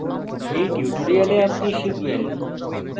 in tutorial আপনি শিখবেন